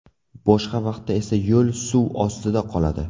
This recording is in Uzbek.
Boshqa vaqtda esa yo‘l suv ostida qoladi.